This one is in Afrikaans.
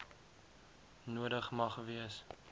nodig mag wees